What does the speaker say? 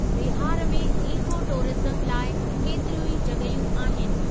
बिहार में इकोटूरिज्म लाइ केतिरियूं ई जॻहियूं आहिनि।